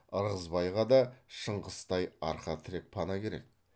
ырғызбайға да шыңғыстай арқа тірек пана керек